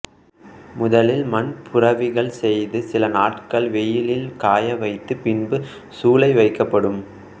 முதலில் மண் புரவிகள் செய்து சில நாட்கள் வெயிலில் காய வைத்து பின்பு சூளை வைக்கப்படும்